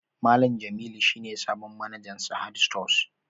Malam Jamilu shi ne sabon manajan Sahad stores